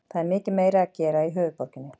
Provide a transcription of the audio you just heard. Það er meira að gera í höfuðborginni.